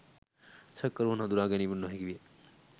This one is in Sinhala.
සැකකරුවත් හඳුනාගැනීමට නොහැකි විය.